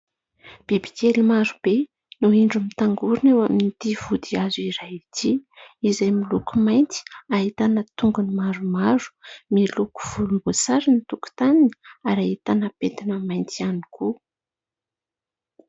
Bibikely maro be no indro mitangorona eo amin'ity vodihazo iray ity izay miloko mainty, ahitana tongony maromaro miloko volomboasary ny tokontaniny ary ahitana pentina mainty ihany koa.